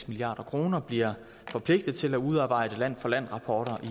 milliard kroner bliver forpligtet til at udarbejde land for land rapporter